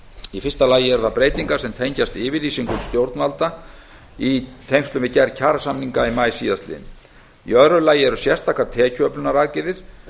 í fyrsta lagi eru breytingar sem tengjast yfirlýsingum stjórnvalda í tengslum við gerð kjarasamninga í maí síðastliðinn í öðru lagi eru sérstakar tekjuöflunaraðgerðir